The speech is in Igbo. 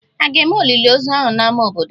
A ga-eme olili ozu ahụ n'ámá obodo?